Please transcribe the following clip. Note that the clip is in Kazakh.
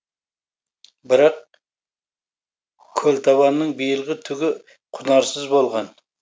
бірақ көлтабанның биылғы түгі құнарсыз болған